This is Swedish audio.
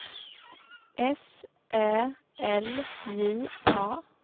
S Ä L J A